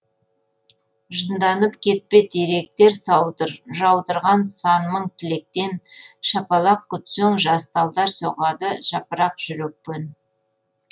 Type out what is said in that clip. жынданып кетпе теректер жаудырған сан мың тілектен шапалақ күтсең жас талдар соғады жапырақ жүрекпен